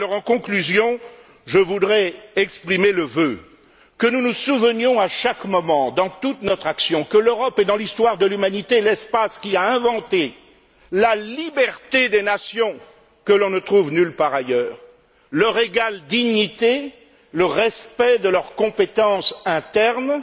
En conclusion, je voudrais exprimer le vœu que nous nous souvenions à chaque moment, dans toute notre action, que l'Europe est, dans l'histoire de l'humanité, l'espace qui a inventé la liberté des nations, que l'on ne trouve nulle part ailleurs, leur égale dignité, le respect de leurs compétences internes et